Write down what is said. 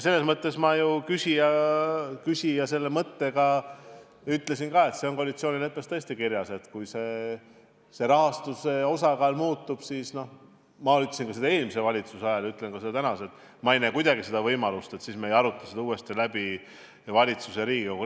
Ma mainisin ennist ka seda küsija mõtet, et koalitsioonileppes on tõesti kirjas, et kui rahastuse osakaal muutub – ma ütlesin seda eelmise valitsuse ajal ja ütlen ka täna –, siis ei näe ma kuidagi võimalust, et me ei arutaks seda uuesti valitsuse ja Riigikoguga läbi.